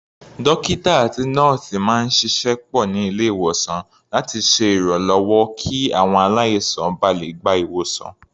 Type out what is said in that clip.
Dókítà àti nọ́ọ̀sì máa ń ṣiṣẹ́ pọ̀ ní ilé-ìwòsàn láti ṣe ìrànlọ́wọ́ kí àwọn aláìsàn ba lè gba ìwòsàn.